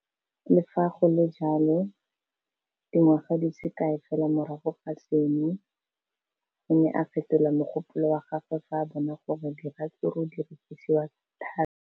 Le fa go le jalo, dingwaga di se kae fela morago ga seno, o ne a fetola mogopolo wa gagwe fa a bona gore diratsuru di rekisiwa thata.